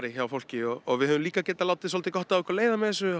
hjá fólki við höfum líka geta látið svolítið gott af okkur leiða með þessu